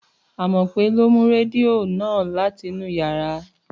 Àmọ́pé lọ mú rẹdìo ó na látinú yàrá.